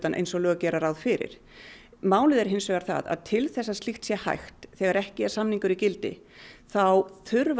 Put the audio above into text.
eins og lög gera ráð fyrir málið er hins vegar það að til þess að slíkt sé hægt þegar ekki er samningur í gildi þá þurfa